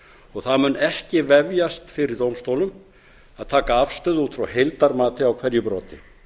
og það mun ekki vefjast fyrir dómstólum að taka afstöðu út frá heildarmati á hverju broti